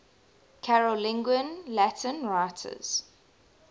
carolingian latin writers